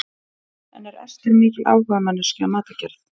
En er Ester mikil áhugamanneskja um matargerð?